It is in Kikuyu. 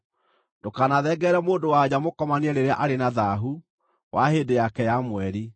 “ ‘Ndũkanathengerere mũndũ-wa-nja mũkomanie rĩrĩa arĩ na thaahu wa hĩndĩ yake ya mweri.